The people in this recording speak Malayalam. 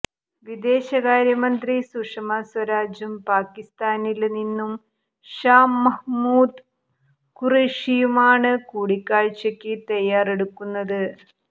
വിദേശകാര്യമന്ത്രി സുഷമാ സ്വരാജും പാകിസ്ഥാനില് നിന്നും ഷാ മഹ്മൂദ് ഖുറേഷിയുമാണ് കൂടിക്കാഴ്ചയ്ക്ക് തയ്യാറെടുക്കുന്നത്